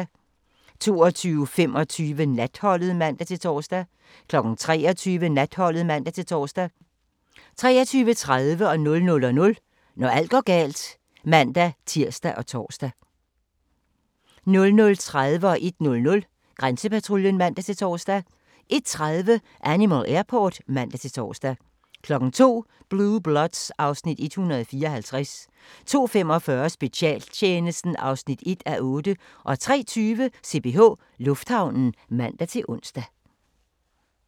22:25: Natholdet (man-tor) 23:00: Natholdet (man-tor) 23:30: Når alt går galt (man-tir og tor) 00:00: Når alt går galt (man-tir og tor) 00:30: Grænsepatruljen (man-tor) 01:00: Grænsepatruljen (man-tor) 01:30: Animal Airport (man-tor) 02:00: Blue Bloods (Afs. 154) 02:45: Specialtjenesten (1:8) 03:20: CPH Lufthavnen (man-ons)